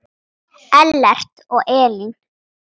Ellert og Elín.